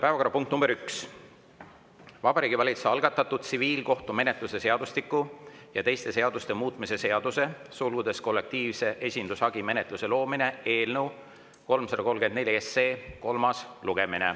Päevakorrapunkt nr 1 on Vabariigi Valitsuse algatatud tsiviilkohtumenetluse seadustiku ja teiste seaduste muutmise seaduse eelnõu 334 kolmas lugemine.